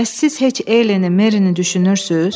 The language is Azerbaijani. Bəs siz heç Eleni, Merini düşünürsüz?